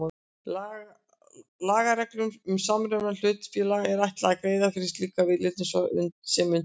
Lagareglum um samruna hlutafélaga er ætlað að greiða fyrir slíkri viðleitni svo sem unnt er.